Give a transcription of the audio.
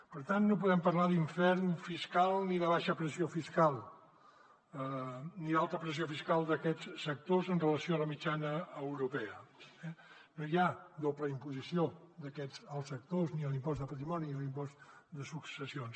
per tant no podem parlar d’infern fiscal ni de baixa pressió fiscal ni d’alta pressió fiscal d’aquests sectors amb relació a la mitjana europea eh no hi ha doble imposició d’aquests als sectors ni a l’impost de patrimoni ni a l’impost de successions